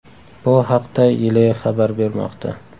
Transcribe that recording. Bu haqda Yle xabar bermoqda .